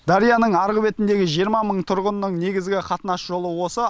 дарияның арғы бетіндегі жиырма мың тұрғынның негізгі қатынас жолы осы